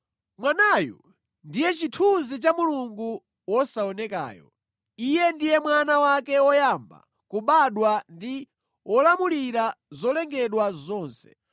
Mwanayu ndiye chithunzi cha Mulungu wosaonekayo. Iye ndiye Mwana wake woyamba kubadwa ndi wolamulira zolengedwa zonse.